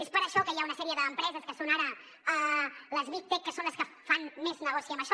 és per això que hi ha una sèrie d’empreses que són ara les big tech que són les que fan més negoci amb això